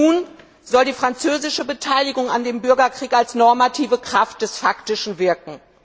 Nun soll die französische Beteiligung am Bürgerkrieg als normative Kraft des Faktischen wirken.